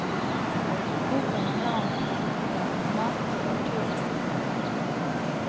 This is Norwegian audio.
Boka handler om planter, mat og kulturhistorie.